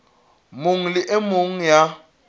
mong le e mong ya